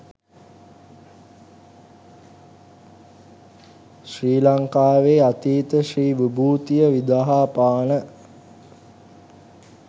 ශ්‍රී ලංකාවේ අතීත ශ්‍රී විභූතිය විදහාපාන